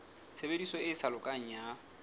tshebediso e sa lokang ya